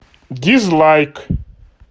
дизлайк